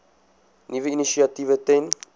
nuwe initiatiewe ten